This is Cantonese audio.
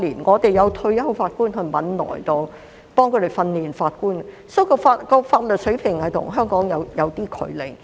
我們有退休法官前往汶萊協助他們訓練法官，因此他們的法律水平與香港有點距離。